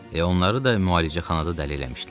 Elə onları da müalicəxanada dəli eləmişdilər.